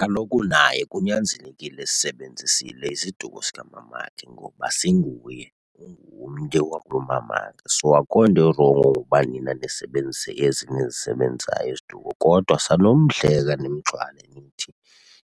Kaloku naye kunyanzelekile esisebenzisile isiduko sikamamakhe ngoba singuye, ungumnye wakulomamakhe. So akukho nto irongo ngokuba nina nisebenzise ezi nizisebenzisayo iziduko kodwa sanumhleka nimgxwale nimthini,